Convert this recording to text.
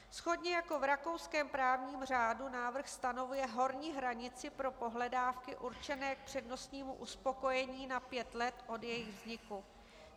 Shodně jako v rakouském právním řádu návrh stanovuje horní hranici pro pohledávky určené k přednostnímu uspokojení na pět let od jejich vzniku.